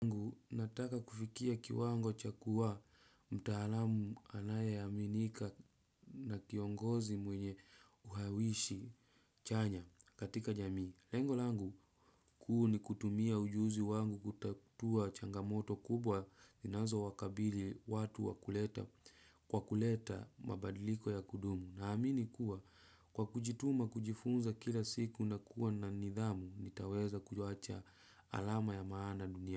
Nataka kufikia kiwango cha kuwa mtaalamu anayeaminika na kiongozi mwenye uhawishi chanya katika jamii. Lengo langu kuu ni kutumia ujuzi wangu kutatua changamoto kubwa inazo wakabili watu kwa kuleta mabadiliko ya kudumu. Na amini kuwa kwa kujituma kujifunza kila siku na kuwa na nidhamu nitaweza kuacha alama ya maana dunia.